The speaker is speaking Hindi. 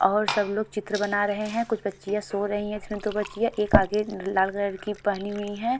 और सब लोग चित्र बना रहे हैं कुछ बच्चियां सो रही हैं इसमें दो बच्चियाँ एक आगे ल-लाल कलर की पहनी हुई हैं।